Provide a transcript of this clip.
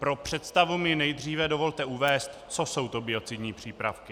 Pro představu mi nejdříve dovolte uvést, co jsou to biocidní přípravky.